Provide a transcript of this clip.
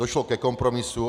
Došlo ke kompromisu.